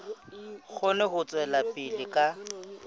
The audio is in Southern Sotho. kgone ho tswela pele ka